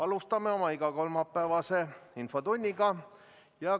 Alustame oma igakolmapäevast infotundi.